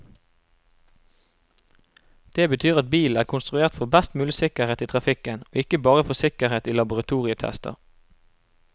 Det betyr at bilen er konstruert for best mulig sikkerhet i trafikken, og ikke bare for sikkerhet i laboratorietester.